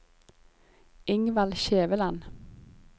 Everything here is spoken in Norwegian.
Ingvald Skjæveland